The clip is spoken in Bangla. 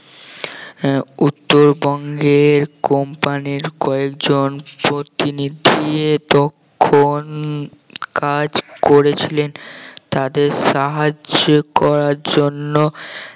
হ্যাঁ উত্তরবঙ্গের company র কয়েকজন প্রতিনিধি তখন কাজ করেছিলেন তাদের সাহায্য করার জন্য